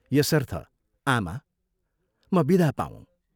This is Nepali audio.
यसर्थ आमा म विदा पाऊँ।